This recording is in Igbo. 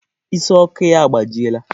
Ịsị Ọkụ ya agbajiela.